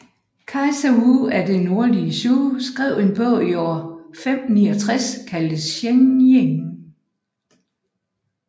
Kejser Wu af det Nordlige Zhou skrev en bog i år 569 kaldet Xiang Jing